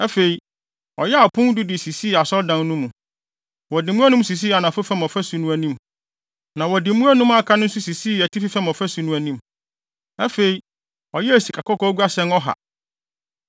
Afei, ɔyɛɛ apon du de sisii Asɔredan no mu. Wɔde mu anum sisii anafo fam ɔfasu no anim, na wɔde mu anum a aka no nso sisii atifi fam ɔfasu no anim. Afei, ɔyɛɛ sikakɔkɔɔ guasɛn ɔha.